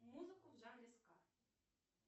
музыку в жанре ска